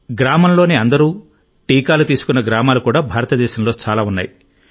గ్రామంలోని అందరూ టీకాలు తీసుకున్న గ్రామాలు కూడా భారతదేశంలో చాలా ఉన్నాయి